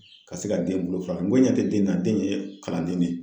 Ka se ka den bolo fara n ko ɲɛtɛ den na den ye kalanden ne ye.